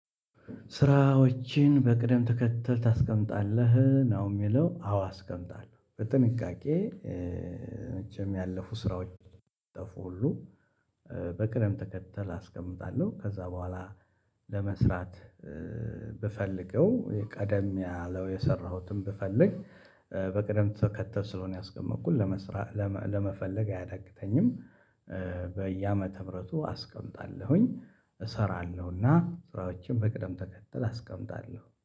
ስራዎችን በቅደም ተከተል ታስቀምጣለህ ነው የሚለው አዎ አስቀምጣለሁ በጥንቃቄ መቼም ያለፉ ስራዎች የጠፉ ሁሉ በቅደም ተከተል አስቀምጣለሁ ከዛ በኋላ ለመስራት ብፈልገው ቀደም ያለው የሰራሁትን ብፈልግ በቅደም ተከተት ስለሆነ ያስቀመጥኩት ለመስራት ለመፈለግ አያዳግተኝም በየአመተ ምህረቱ አስቀምጣለሁኝ እሰራለሁና ስራዎችን በቅደም ተከተል አስቀምጣለሁ።